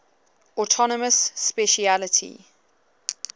autonomous specialty